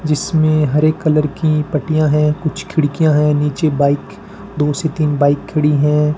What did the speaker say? जिसमें हरे कलर कि पट्टियां हैं कुछ खिड़कियां हैं नीचे बाइक दो से तीन बाइक खड़ी हैं।